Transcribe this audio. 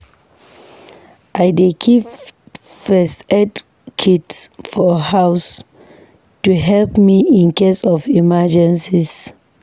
I dey keep first aid kit for house to help me in case of emergencies.